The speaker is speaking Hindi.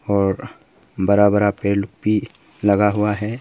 और बड़ा बड़ा पेड़ भी लगा हुआ है।